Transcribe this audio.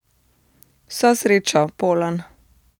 Vso srečo, Polan!